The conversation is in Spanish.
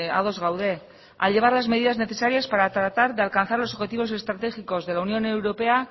ados gaude a llevar las medidas necesarias para tratar de alcanzar los objetivos estratégicos de la unión europea